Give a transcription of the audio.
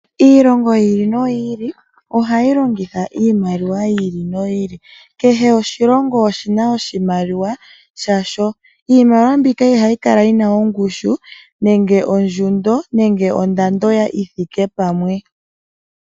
Iilongo yi ili ohayi longitha iimaliwa yi ili noyi oili kehw oahilongo oshina oshimaliwa shasho . Iimaliwa mbika ihayi kala yina ongushu nenge ondjundo nenge ondando yithike pamwe.